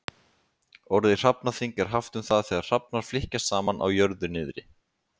Orðið hrafnaþing er haft um það þegar hrafnar flykkjast saman á jörðu niðri.